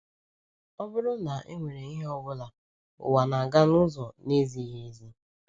Ọ bụrụ na e nwere ihe ọ bụla, ụwa na-aga n’ụzọ na-ezighị ezi.